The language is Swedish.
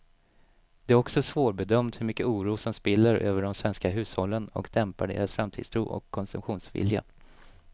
Det är också svårbedömt hur mycket oro som spiller över på de svenska hushållen och dämpar deras framtidstro och konsumtionsvilja.